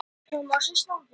Gull af manni